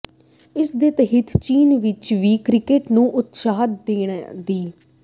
ਇਸ ਦੇ ਤਹਿਤ ਚੀਨ ਵਿੱਚ ਵੀ ਕ੍ਰਿਕੇਟ ਨੂੰ ਉਤਸ਼ਾਹ ਦੇਣ ਦੀ